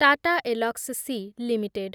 Tata Elxsi limited